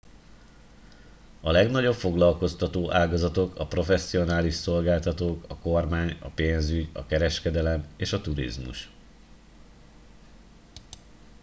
a legnagyobb foglalkoztató ágazatok a professzionális szolgáltatók a kormány a pénzügy a kereskedelem és a turizmus